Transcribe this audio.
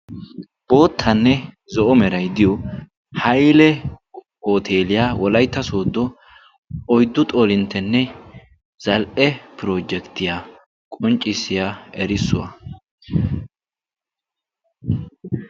boottanne zo'o meray diyo hayle oteeliyaa wolaytta sooddo oyddu xoolinttenne zal"e pirojekttiyaa qonccissiyaa erissuwaa